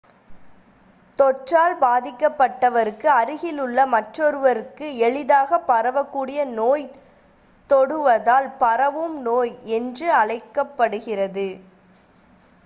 தொற்றால் பாதிக்கப்பட்டவருக்கு அருகில் உள்ள மற்றொருவருக்கு எளிதாகப் பரவகூடிய நோய் தொடுவதால் பரவும் நோய் என்று அழைக்கப்படுகிறது